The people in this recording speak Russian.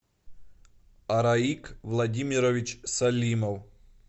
араик владимирович салимов